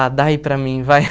Ah, dá aí para mim, vai.